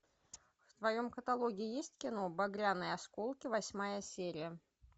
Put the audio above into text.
в твоем каталоге есть кино багряные осколки восьмая серия